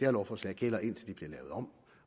lovforslag gælder indtil de bliver lavet om